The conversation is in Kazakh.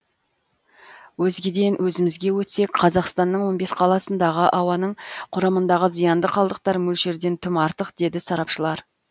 өзгеден өзімізге өтсек қазақстанның он бес қаласындағы ауаның құрамындағы зиянды қалдықтар мөлшерден тым артық деді сарапшылар